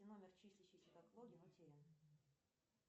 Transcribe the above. номер числящийся как логин утерян